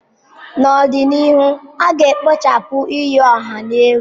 N'ọdịnihu, a ga-ekpochapụ iyi ọha egwu.